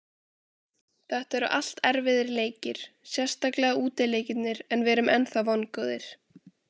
Þetta eru allt erfiðir leikir, sérstaklega útileikirnir en við erum ennþá vongóðir.